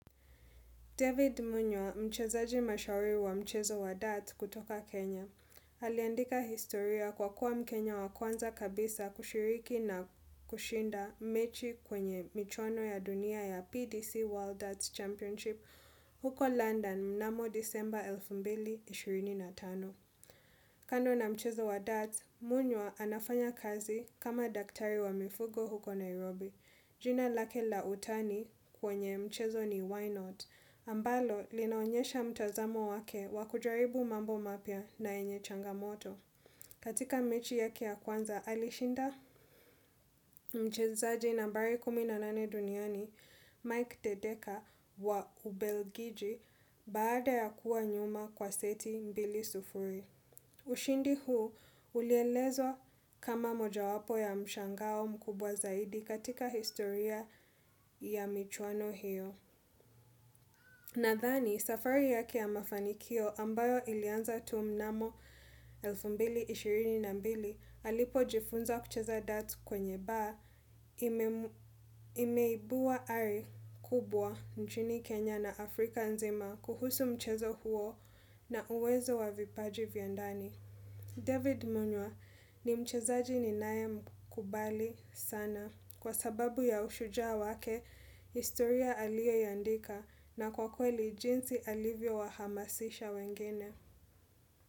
David Munywa, mchezaji mashauri wa mchezo wa Darts kutoka Kenya. Aliendika historia kwa kuwa mkenya wa kwanza kabisa kushiriki na kushinda mechi kwenye michono ya dunia ya PDC World Darts Championship huko London mnamo December 2025. Kando na mchezo wa Darts, Munywa anafanya kazi kama daktari wa mifugo huko Nairobi. Jina lake la utani kwenye mchezo ni why not, ambalo linaonyesha mtazamo wake wakujaribu mambo mapia na enye changamoto. Katika mechi ya kia kwanza alishinda, mchezaji nambari kumi na nane duniani, Mike Tedeka wa Ubelgiji baada ya kuwa nyuma kwa seti mbili sufuri. Ushindi huu ulielezo kama moja wapo ya mshangao mkubwa zaidi katika historia ya michwano hiyo. Nadhani, safari yaki ya mafanikio ambayo ilianza tu mnamo 2022 alipo jifunza kucheza datu kwenye bar imeibua ari kubwa nchini Kenya na Afrika nzima kuhusu mchezo huo na uwezo wa vipaji vyandani. David Munywa ni mchazaji ni nae mkubali sana kwa sababu ya ushujaa wake, istoria alie yandika na kwa kweli jinsi alivyo wa hamasisha wengine.